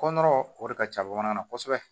Kɔngɔɔrɔ o de ka ca bamanan na kosɛbɛ